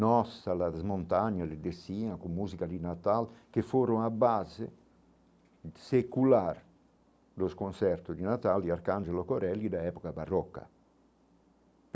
Nossa, as montanhas, descia com música de Natal, que foram a base secular dos concertos de Natal e Arcangelo Corelli da época barroca.